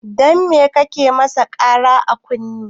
Dan me kake masa Kara a kunne?